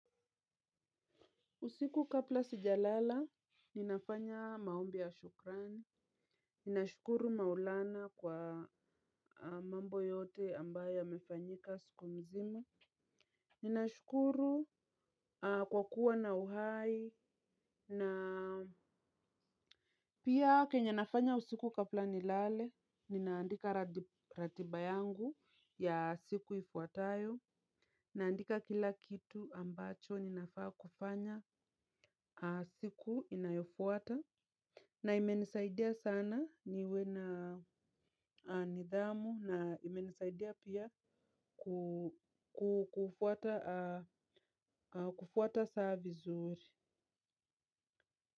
Usiku kabla sijalala, ninafanya maombi ya shukrani. Ninashukuru maulana kwa mambo yote ambayo yamefanyika siku mzima. Ninashukuru kwakuwa na uhai. Na pia kenye nafanya usiku kabla nilale, ninaandika ratiba yangu ya siku ifuatayo. Naandika kila kitu ambacho ninafaa kufanya siku inayofuata. Na imenisaidia sana, niwe na nidhamu na imenisaidia pia kufuata saa vizuri.